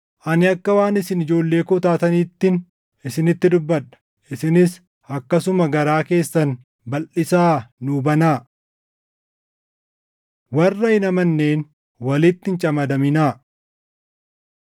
Ani akka waan isin ijoollee koo taataniittin isinitti dubbadha; isinis akkasuma garaa keessan balʼisaa nuu banaa. Warra Hin Amanneen Walitti Hin Camadaminaa